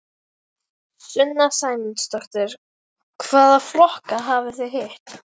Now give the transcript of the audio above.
Sunna Sæmundsdóttir: Hvaða flokka hafið þið hitt?